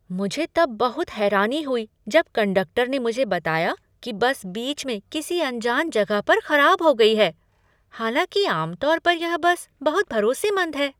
मुझे तब बहुत हैरानी हुई जब कंडक्टर ने मुझे बताया कि बस बीच में किसी अनजान जगह पर खराब हो गई है, हालांकि आम तौर पर यह बस बहुत भरोसेमंद है।